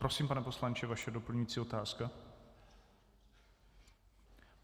Prosím, pane poslanče, vaše doplňující otázka.